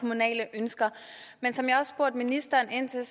kommunale ønsker men som jeg også spurgte ministeren ind til